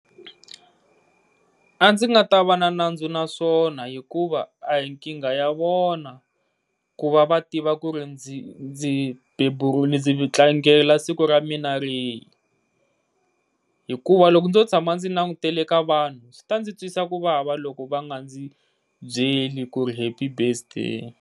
A ndzi nga ta va na nandzu naswona hikuva a hi nkingha ya vona ku va va tiva ku ri ndzi ndzi tlangela siku ra mina ri hi. Hikuva loko ndzo tshama ndzi langutele ka vanhu swi ta ndzi twisa ku vava loko va nga ndzi byeli ku ri happy birthday.